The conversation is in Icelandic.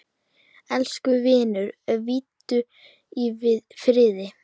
Elsku vinur, hvíldu í friði.